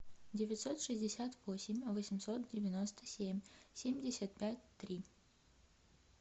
девятьсот шестьдесят восемь восемьсот девяносто семь семьдесят пять три